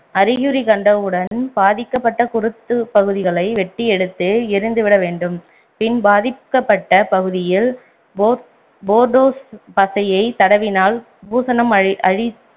அறிகுறி கண்டவுடன் பாதிக்கப்பட்ட குருத்து பகுதிகளை வெட்டி எடுத்து எரிந்துவிட வேண்டும் பின் பாதிக்கப்பட்ட பகுதியில் போர்~ போர்டோ பசையை தடவினால் பூசணம் அழி